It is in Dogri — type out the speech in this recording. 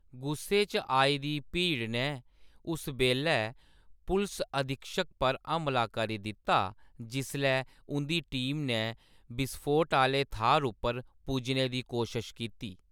गुस्से च आई दी भीड़ नै उस बेल्लै पुलस अधीक्षक पर हमला करी दित्ता जिसलै उं’दी टीम नै बिसफोट आह्‌ले थाह्‌र उप्पर पुज्जने दी कोशश कीती।